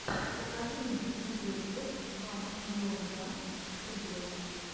покажи мне видеоблог ван миллион данс студио